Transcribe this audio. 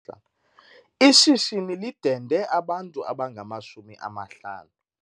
Ishishini lidende abantu abangamashumi amahlanu.